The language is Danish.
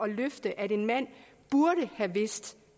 løfte at en mand burde have vidst